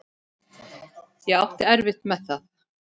Ég átti erfitt með það.